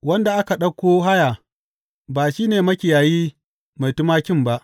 Wanda aka ɗauko haya ba shi ne makiyayi mai tumakin ba.